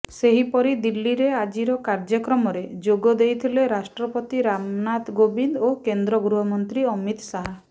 ସେହିପରି ଦିଲ୍ଲୀରେ ଆଜିର କାର୍ଯ୍ୟକ୍ରମରେ ଯୋଗ ଦେଇଥିଲେ ରାଷ୍ଟ୍ରପତି ରାମନାଥ କୋବିନ୍ଦ ଓ କେନ୍ଦ୍ର ଗୃହମନ୍ତ୍ରୀ ଅମିତ ଶାହ